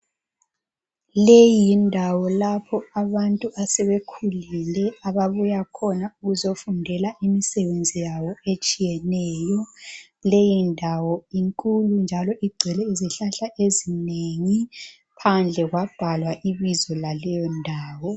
Leyi yindawo lapho abantu asebekhulile ababuya khona ukuzofundela imisebenzi yabo etshiyeneyo. Leyi ndawo inkulu njalo igcwele izihlahla ezinengi phandle kwabhalwa ibizo laleyo ndawo.